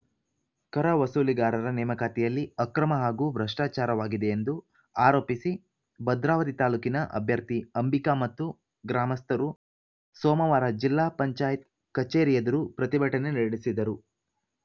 ಕರ ವಸೂಲಿಗಾರರ ನೇಮಕಾತಿಯಲ್ಲಿ ಅಕ್ರಮ ಹಾಗೂ ಭ್ರಷ್ಟಾಚಾರವಾಗಿದೆ ಎಂದು ಆರೋಪಿಸಿ ಭದ್ರಾವತಿ ತಾಲೂಕಿನ ಅಭ್ಯರ್ಥಿ ಅಂಬಿಕಾ ಮತ್ತು ಗ್ರಾಮಸ್ಥರು ಸೋಮವಾರ ಜಿಲ್ಲಾಪಂಚಾಯತ್ ಕಚೇರಿ ಎದುರು ಪ್ರತಿಭಟನೆ ನಡೆಸಿದರು